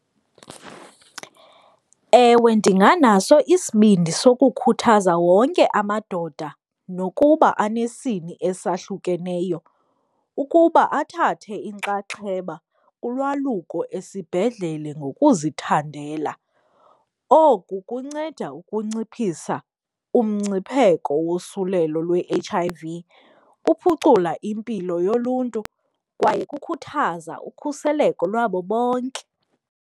Ewe, ndinganaso isibindi sokukhuthaza wonke amadoda nokuba anesini esahlukeneyo ukuba athathe inxaxheba kulwaluko esibhedlele ngokuzithandela. Oku kunceda ukunciphisa umngcipheko wosulelo lwe-H_I_V, kuphucula impilo yoluntu kwaye kukhuthaza ukhuseleko lwabo bonke.